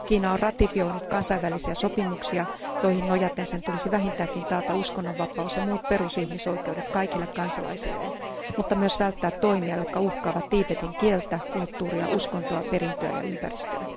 Kiina on ratifioinut kansainvälisiä sopimuksia, joihin nojaten sen tulisi vähintäänkin taata uskonnonvapaus ja muut perusihmisoikeudet kaikille kansalaisilleen, mutta myös välttää toimia, jotka uhkaavat Tiibetin kieltä, kulttuuria, uskontoa, perintöä ja ympäristöä.